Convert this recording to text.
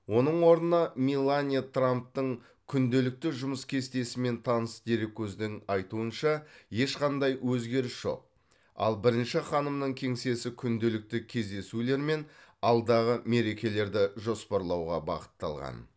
оның орнына меланья трамптың күнделікті жұмыс кестесімен таныс дереккөздің айтуынша ешқандай өзгеріс жоқ ал бірінші ханымның кеңсесі күнделікті кездесулер мен алдағы мерекелерді жоспарлауға бағытталған